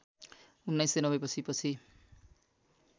१९९० पछि पछि